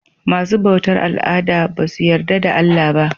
Masu bautar al'ada basu yarda da Allah ba.